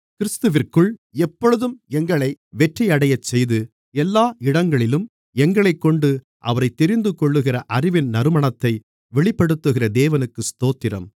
கிறிஸ்துவிற்குள் எப்பொழுதும் எங்களை வெற்றியடையச்செய்து எல்லா இடங்களிலும் எங்களைக்கொண்டு அவரைத் தெரிந்துகொள்கிற அறிவின் நறுமணத்தை வெளிப்படுத்துகிற தேவனுக்கு ஸ்தோத்திரம்